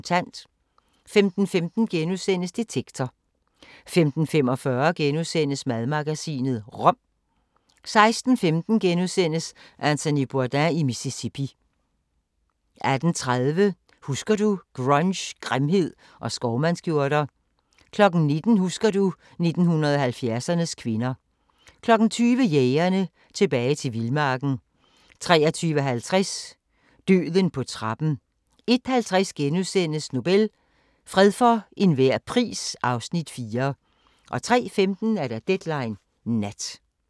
15:15: Detektor * 15:45: Madmagasinet – rom * 16:15: Anthony Bourdain i Mississippi * 18:30: Husker du – Grunge, grimhed og skovmandskjorter 19:00: Husker du ... 1970'ernes kvinder 20:00: Jægerne – Tilbage til vildmarken 23:50: Døden på trappen 01:50: Nobel – fred for enhver pris (Afs. 4)* 03:15: Deadline Nat